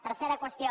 tercera qüestió